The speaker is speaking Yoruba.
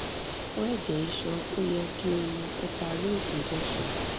fun ẹjẹ iṣan o yẹ ki o mu heparin injection